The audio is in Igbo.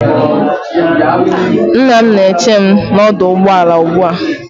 Nna m na-eche m n'ọdụ ụgbọ ala ugbu a